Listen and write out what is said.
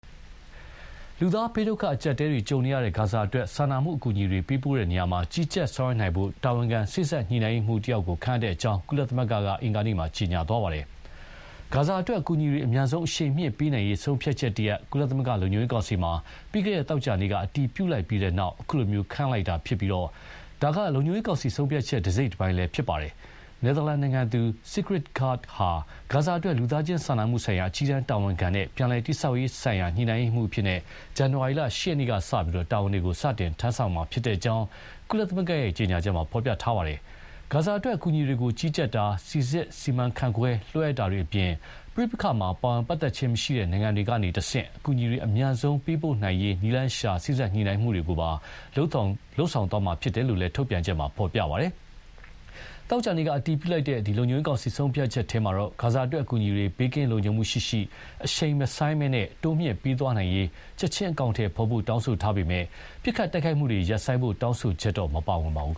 လူသားဘေးဒုက္ခ အကျပ်အတည်းတွေ ကြုံနေရတဲ့ ဂါဇာအတွက် စာနာမှုအကူအညီတွေပေးပို့ရာမှာ ကြီးကြပ်ဆောင်ရွက်နိုင်ဖို့ တာဝန်ခံ စေ့စပ်ညှိနှိုင်းရေးမှူး ခန့်အပ်လိုက်တဲ့အကြောင်း ကုလသမဂ္ဂက အင်္ဂါနေ့က ကြေညာပါတယ်။ ဂါဇာအတွက်အကူအညီတွေ အမြန်ဆုံး အရှိန်မြှင့်ပေးနိုင်ရေး ဆုံးဖြတ်ချက်တရပ် ကုလသမဂ္ဂ လုံခြုံရေးကောင်စီမှာ ပြီးခဲ့တဲ့ သောကြာနေ့က အတည်ပြုလိုက်ပြီးတဲ့နောက် ခုလို ခန့်အပ်လိုက်တာဖြစ်ပြီး ဒါက လုံခြုံရေးကောင်စီဆုံးဖြတ်ချက် တစိတ်တပိုင်းလည်း ဖြစ်ပါတယ်။ နယ်သာလန်နိုင်ငံသူ Sigrid Kaag ဟာ ဂါဇာအတွက် လူသားချင်းစာနာမှု ဆိုင်ရာ အကြီးတန်းတာဝန်ခံနဲ့ ပြန်လည် တည်ဆောက်ရေးဆိုင်ရာ ညှိနှိုင်းရေးမှူးအဖြစ် ဇန်နဝါရီလ ၈ ရက်နေ့ကစလို့ တာဝန်တွေ စတင် ထမ်းဆောင်မှာဖြစ်ကြောင်း ကုလသမဂ္ဂရဲ့ ကြေညာချက်မှာ ဖော်ပြထားပါတယ်။ ဂါဇာအတွက် အကူအညီတွေကို ကြီးကြပ်တာ၊ စိစစ်၊ စီမံ ခန့်ခွဲ၊ လွှဲအပ်တာတွေအပြင် ပဋိပက္ခမှာ ပါဝင်ပတ်သက်ခြင်းမရှိတဲ့ နိုင်ငံတွေကနေတဆင့် အကူအညီတွေ အမြန်ဆုံးပေးပို့နိုင်ရေး နည်းလမ်းရှာစေ့စပ်ညှိနှိုင်းမှုတွေကိုပါ လုပ်သွားရမှဖြစ်တယ်လို့လည်း ထုတ်ပြန်ချက်မှာ ဖော်ပြပါတယ်။ သောကြာနေ့က အတည်ပြုလိုက်တဲ့ လုံခြုံရေးကောင်စီ ဆုံးဖြတ်ချက်ထဲမှာတော့ ဂါဇာအတွက် အကူအညီတွေ ဘေးကင်းလုံခြုံမှုရှိရှိ၊ အရှိန်မဆိုင်းဘဲ တိုးမြှင့်ပေးသွားနိုင်ရေး ချက်ချင်း အကောင်အထည်ဖော်ဖို့တောင်းဆိုထားပေမဲ့ ပစ်ခတ်တိုက်ခိုက်မှုတွေ ရပ်ဆိုင်းဖို့ တောင်းဆိုချက်တော့ မပါဝင်ပါဘူး